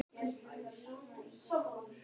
Hvert er þá vandamálið?